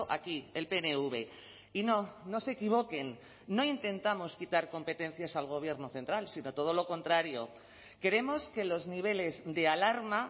aquí el pnv y no no se equivoquen no intentamos quitar competencias al gobierno central sino todo lo contrario queremos que los niveles de alarma